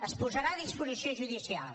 es posarà a disposició judicial